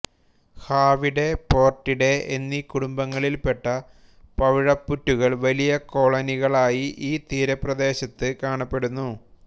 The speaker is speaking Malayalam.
ഫാവിഡേ പോർട്ടിഡേ എന്നീ കുടുംബങ്ങളിൽപ്പെട്ട പവിഴപ്പുറ്റുകൾ വലിയ കോളനികളായി ഈ തീരപ്രദേശത്ത് കാണപ്പെടുന്നു